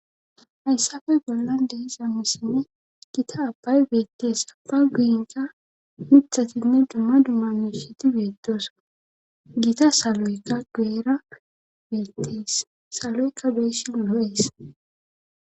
Hayssape bollan de7iza misilen gita abbay beettes;abba guyenkka mithatinne dumma dumma miishati beettosona;gita saloykka guyera beettes;saloykka be7ishin lo7es.